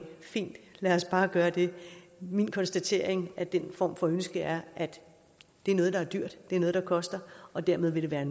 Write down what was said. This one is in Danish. fint lad os bare gøre det min konstatering af den form for ønske er at det er noget der er dyrt det er noget der koster og dermed vil det være